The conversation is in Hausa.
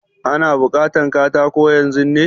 Ana bukatan katako yanzun ne?